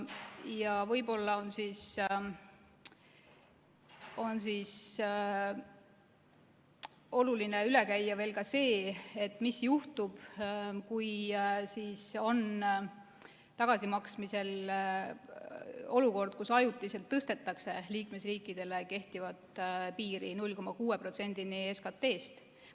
Ja võib-olla on oluline üle käia veel ka see, mis juhtub siis, kui on tagasimaksmisel olukord, kus ajutiselt tõstetakse liikmesriikidele kehtivat piiri 0,6%-ni SKT-st.